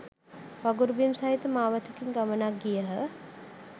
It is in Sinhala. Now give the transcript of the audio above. වගුරු බිම් සහිත මාවතකින් ගමනක් ගියහ.